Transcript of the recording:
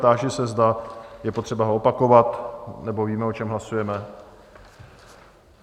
Táži se, zda je potřeba ho opakovat, nebo víme, o čem hlasujeme?